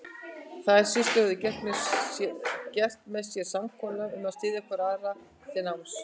Þær systur höfðu gert með sér samkomulag um að styðja hvor aðra til náms.